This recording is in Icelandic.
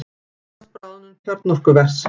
Óttast bráðnun kjarnorkuvers